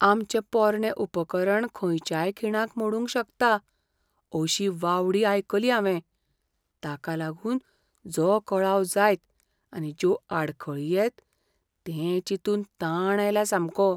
आमचें पोरणें उपकरण खंयच्याय खिणाक मोडूंक शकता अशी वावडी आयकली हांवें. ताका लागून जो कळाव जायत आनी ज्यो आडखळी येत तें चिंतून ताण आयला सामको.